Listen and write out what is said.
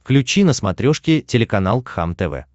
включи на смотрешке телеканал кхлм тв